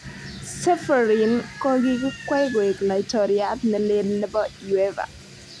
Ceferin kokikwei koek Laitoriat ne leel nebo Uefa.